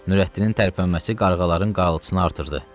Nurəddinin tərpənməsi qarğaların qarıltısını artırdı.